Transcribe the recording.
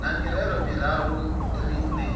na mirero miraru ri neeni